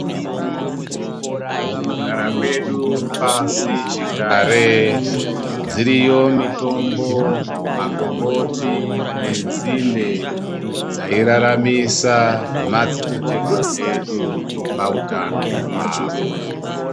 Mukugara kwedu pasichigare dziriyo mitombo, makomboti nenzinde dzairaramisa madzitateguru edu pautano hwavo.